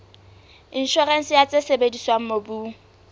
inshorense ya tse sebediswang mobung